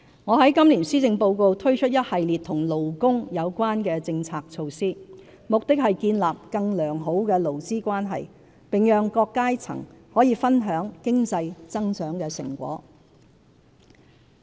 我在今年施政報告推出一系列與勞工有關的政策措施，目的是建立更良好的勞資關係，並讓各階層可分享經濟增長的成果。